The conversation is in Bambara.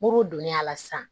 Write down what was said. Muru donn'a la sisan